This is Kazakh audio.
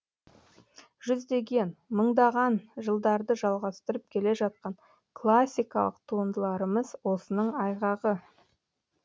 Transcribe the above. жүздеген мыңдаған жылдарды жалғастырып келе жатқан классикалық туындыларымыз осының айғағы